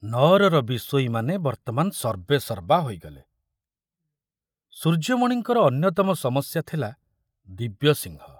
ନଅରର ବିଷୋଇମାନେ ବର୍ତ୍ତମାନ ସର୍ବେସର୍ବା ହୋଇଗଲେ। ସୂର୍ଯ୍ୟମଣିଙ୍କର ଅନ୍ୟତମ ସମସ୍ୟା ଥିଲା ଦିବ୍ୟସିଂହ।